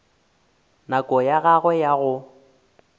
nako ya gagwe ya go